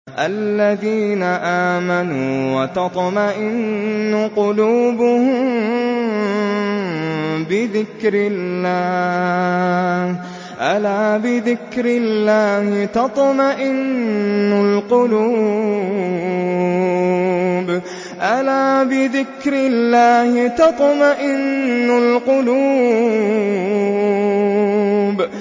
الَّذِينَ آمَنُوا وَتَطْمَئِنُّ قُلُوبُهُم بِذِكْرِ اللَّهِ ۗ أَلَا بِذِكْرِ اللَّهِ تَطْمَئِنُّ الْقُلُوبُ